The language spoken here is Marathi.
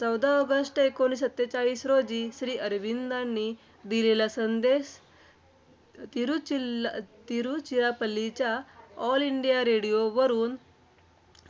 चौदा ऑगस्ट एकोणीसशे सत्तेचाळीस रोजी, श्रीअरविंदांनी दिलेला संदेश तिरूचिर तिरूचिरापल्लीच्या ’ऑल इंडिया रेडिओ’ वरून